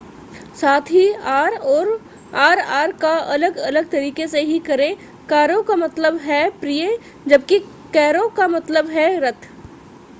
साथ ही r और rr का अलग-अलग तरीके से ही करें caro का मतलब है प्रिय जबकि carro का मतलब है रथ